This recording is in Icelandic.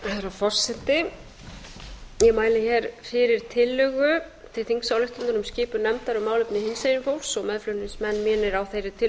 ég mæli fyrir tillögu til þingsályktunar um skipun nefndar um málefni hinsegin fólks og meðflutningsmenn mínir á þeirri tillögu